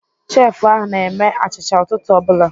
Chefụ ahụ na-eme achịcha ụtụtụ ọ bụla.